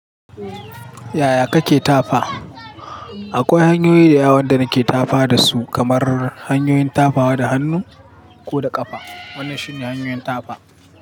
Yaya kake tafa? Akwai hanyoyi da yawa wanda nake tafa dasu kamar hanyoyin tafawa da hannu ko da ƙafa. Wannan shine hanyoyin tafa.